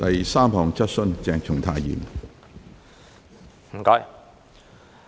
第三項質詢。